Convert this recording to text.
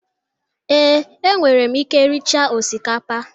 ee, enwere m ike riecha osikapa